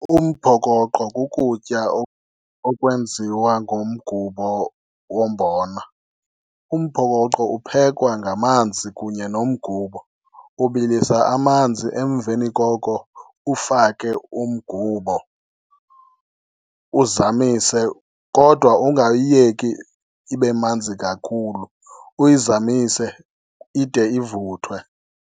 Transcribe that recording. Umphokoqo kukutya okwenziwa ngomgubo wombona. Umphokoqo uphekwa ngamanzi kunye nomgubo. Ubilisa amanzi emveni koko ufake umgubo uzamise kodwa ungayiyeki ibe manzi kakhulu, uyizamise ide ivuthwe.